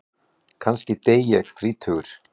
Kannski dey ég þrítugur.